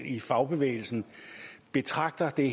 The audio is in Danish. i fagbevægelsen betragter det